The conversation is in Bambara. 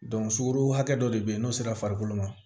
sukaro hakɛ dɔ de bɛ n'o sera farikolo ma